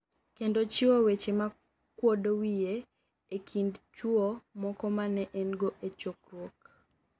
kendo chiwo weche makwodo wiye e kind chuwo moko mane en go e chokruok